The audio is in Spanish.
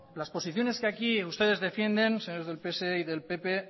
las posiciones que aquí ustedes defienden señores del pse y del pp